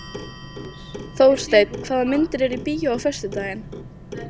Þórsteinn, hvaða myndir eru í bíó á föstudaginn?